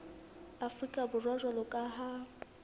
afrika borwa jwalo ka ha